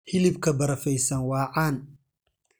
Hilibka barafaysan waa caan.